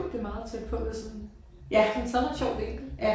Det meget tæt på det sådan de har taget en ret sjov vinkel